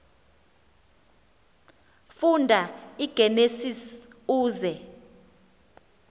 funda igenesis uze